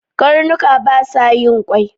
karnuka basa yin kwai